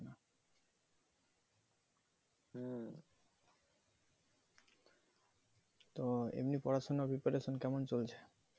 তো এমনি পড়াশোনা preparation কেমন চলছে?